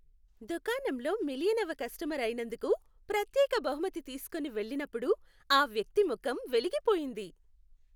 దుకాణంలో మిలియనవ కస్టమర్ అయినందుకు ప్రత్యేక బహుమతి తీస్కోని వెళ్ళినప్పుడు ఆ వ్యక్తి ముఖం వెలిగిపోయింది.